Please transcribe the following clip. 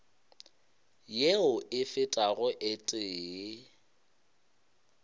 yeo e fetago o tee